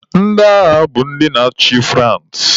Ndị agha bụ ndị na-achị France.